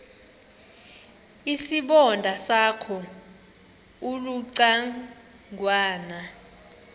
isibonda sakho ulucangwana